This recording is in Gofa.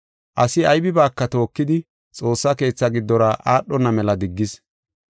asi aybibaaka tookidi, xoossa keetha giddora aadhona mela diggis.